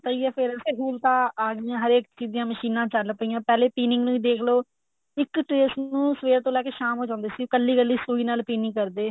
ਪਤਾ ਹੀ ਏ per ਹੁਣ ਤਾਂ ਸਹੂਲਤਾ ਆ ਗਿਆ ਹਰੇਕ ਚੀਜ ਦੀਆਂ ਮਸ਼ੀਨਾ ਚਲ ਪਿਆ ਪਹਿਲੇ pinning ਦੇਖ ਲੋ ਇੱਕ trace ਨੂੰ ਸਵੇਰ ਤੋਂ ਲੈਕੇ ਸ਼ਾਮ ਹੋ ਜਾਂਦੀ ਸੀ ਕੱਲੀ ਕੱਲੀ ਸੂਈ ਨਾਲ pinning ਕਰਦੇ